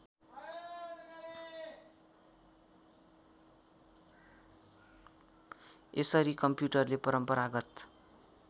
यसरी कम्प्युटरले परम्परागत